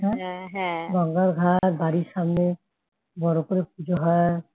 গঙ্গার ঘাট বাড়ির সামনে বড় করে পূজা হয়